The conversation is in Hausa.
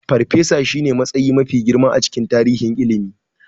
Farfesa shine matsayi mafi girma a cikin tsarin ilimi.